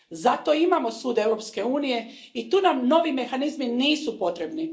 Zato imamo Sud Europske unije i tu nam novi mehanizmi nisu potrebni.